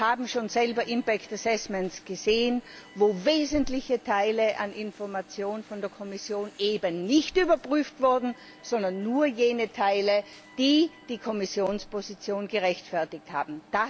Wir haben selbst schon impact assessments gesehen, wo wesentliche Teile von Informationen von der Kommission nicht überprüft wurden, sondern nur jene Teile, die die Kommissionsposition gerechtfertigt haben.